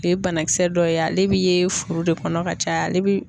O ye banakisɛ dɔ ye ale bi ye furu de kɔnɔ ka caya ale bi